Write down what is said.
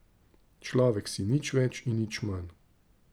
Človek si, nič več in nič manj.